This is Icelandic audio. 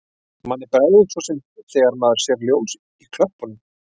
Manni bregður svo sem þegar maður sér ljós í klöppunum.